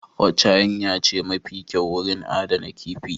Wacce hanyar ce mafi kyau wurin adana kifi?